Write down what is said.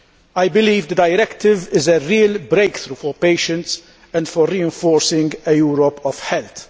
I believe the directive is a real breakthrough for patients and for reinforcing a Europe of health.